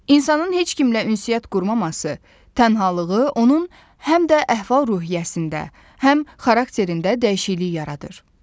İnsanın heç kimlə ünsiyyət qurmaması, tənhalığı onun həm də əhval-ruhiyyəsində, həm xarakterində dəyişiklik yaradır.